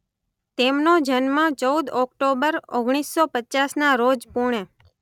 તેમનો જન્મ ચૌદ ઓક્ટોબર ઓગણીસો પચાસના રોજ પૂણે